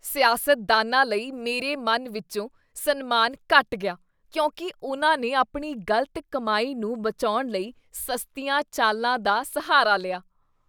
ਸਿਆਸਤਦਾਨਾਂ ਲਈ ਮੇਰੇ ਮਨ ਵਿਚੋਂ ਸਨਮਾਨ ਘੱਟ ਗਿਆ ਕਿਉਂਕਿ ਉਨ੍ਹਾਂ ਨੇ ਆਪਣੀ ਗ਼ਲਤ ਕਮਾਈ ਨੂੰ ਬਚਾਉਣ ਲਈ ਸਸਤੀਆਂ ਚਾਲਾਂ ਦਾ ਸਹਾਰਾ ਲਿਆ।